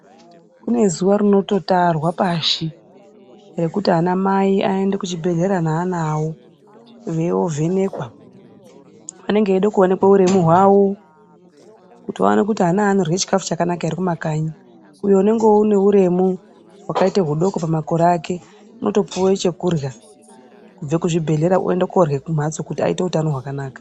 Kune zuwa rinototarwa pashi, rekuti anamai aende kuchibhedhlera neana avo, veiovhenekwa. Anenge eide kuonekwe uremu hwavo, kuti vaone kuti ana aya anorye chikhafu chakanaka ere kumakanyi. Uyo anenge ane uremu hwakaite hudoko pamakore ake, unotopiwe chekurya kubve kuzvibhedhlera oende koorye kumhatso kuti aite upenyu hwakanaka.